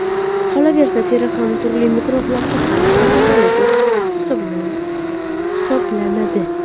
Qolaversa, teri ham turli mikroblarga qarshi samarali to‘siq hisoblanadi.